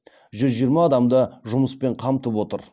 жүз жиырма адамды жұмыспен қамтып отыр